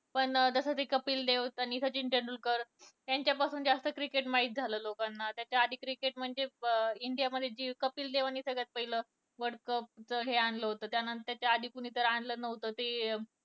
पण जसं कि कपिल देव आणि सचिन तेंडुलकर यांच्यापासून cricket जास्त माहित झालं लोकांना त्याच्याआधी cricket म्हणजे इंडिया मध्ये कपिल देव ने सगळ्यात पहिलं world cup च हे आणलं होतं त्याआधी कुणी तर आणलं नव्हतं ते